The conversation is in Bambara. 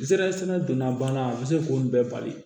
Zere sɛnɛ donna bana a bɛ se k'o bɛɛ bali